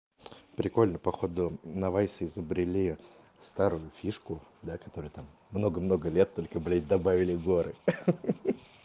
прикольно походу на вайс изобрели старую фишку да которую там много много лет только блядь добавили горы